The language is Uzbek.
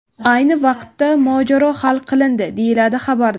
Ayni vaqtda mojaro hal qilindi”, deyiladi xabarda.